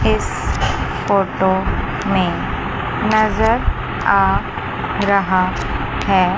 इस फोटो में नजर आ रहा है।